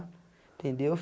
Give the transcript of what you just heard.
Entendeu?